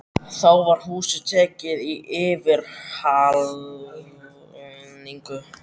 Þá var húsið tekið í yfirhalningu.